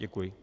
Děkuji.